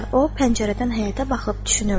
O pəncərədən həyətə baxıb düşünürdü.